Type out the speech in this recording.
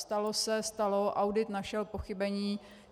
Stalo se, stalo, audit našel pochybení.